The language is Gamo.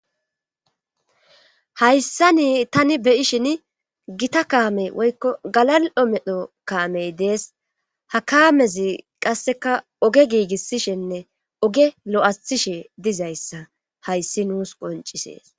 hayssa nii tani beyishin gita kaamey woykko galal7o medho kaamey dees hakaamezi qasseka oge giigissishenne oge lo7athishe dizayssa hayssi nuus qoncisees